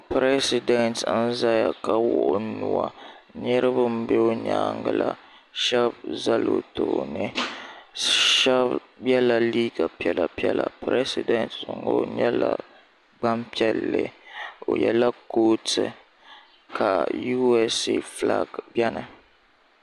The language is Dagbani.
Piresidenti n zaya ka wuɣi o nua niriba m be o nyaanga la sheba zala o tooni sheba yɛla liiga piɛla piɛla piresidenti ŋɔ o nyɛla gbampiɛlli o yela kootu ka USA bilaaki biɛni.